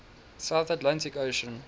south atlantic ocean